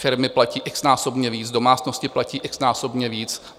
Firmy platí x-násobně víc, domácnosti platí x-násobně víc.